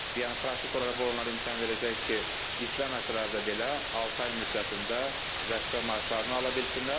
Yəni praktik olaraq bu onlara imkan verəcək ki, işləməsələr belə, altı ay müddətində vəzifə maaşlarını ala bilsinlər.